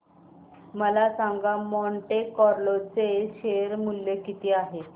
मला सांगा Monte Carlo चे शेअर मूल्य किती आहे